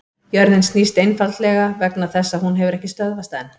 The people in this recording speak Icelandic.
Jörðin snýst einfaldlega vegna þess að hún hefur ekki stöðvast enn!